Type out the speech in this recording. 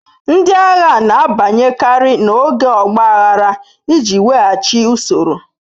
Ndị agha na-abanyekarị n'oge ọgba aghara iji weghachi usoro.